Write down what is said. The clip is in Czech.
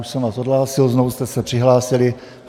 Už jsem vás odhlásil, znovu jste se přihlásili.